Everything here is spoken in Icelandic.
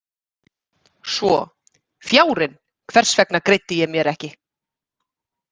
Svo: Fjárinn, hvers vegna greiddi ég mér ekki?